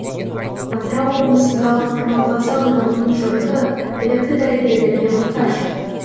атырау облысындағы құрманғазы ауданының жұрты білікті дәрігерлерге мұқтаж